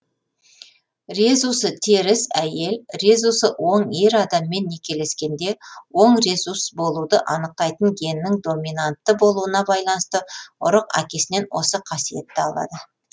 резусы теріс әйел резусы оң ер адаммен некелескенде оң резус болуды анықтайтын геннің доминантты болуына байланысты ұрық әкесінен осы қасиетті алады